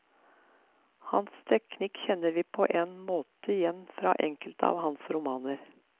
Hans teknikk kjenner vi på en måte igjen fra enkelte av hans romaner.